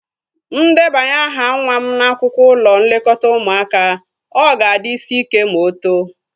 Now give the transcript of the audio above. Mụ debanye aha nwa m n'akwụkwọ ụlọ nlekọta ụmụaka, ọ ga-adị isi ike ma o too